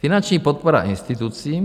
Finanční podpora institucím.